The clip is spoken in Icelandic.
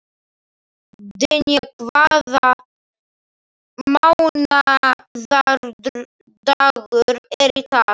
Dynja, hvaða mánaðardagur er í dag?